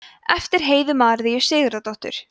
eftir heiðu maríu sigurðardóttur